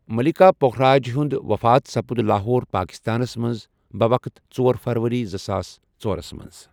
مَلیٖکا پُکھراج ہِیوٚنٛد وفات سپُد لاہور، پٲکِستانس مٕنٛز بوقت ژور فروٕری زٕساس ژور مٕنٛز۔